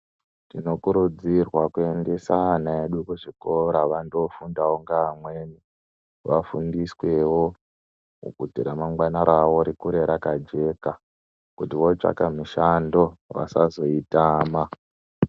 Tinokurudzirwa kuendesa ana edu kuzvikora vandofunda kunga amweni. Vafundiswewo kuti ramangwana ravo rikure rakajeka kuti votsvaka mishando vasazoitama.